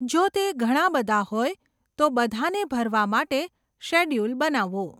જો તે ઘણા બધા હોય, તો બધાને ભરવા માટે શેડ્યૂલ બનાવો.